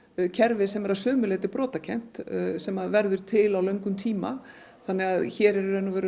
kerfi sem er að sumu leyti brotakennt sem verður til á löngum tíma hér er